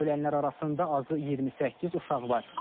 Ölənlər arasında azı 28 uşaq var.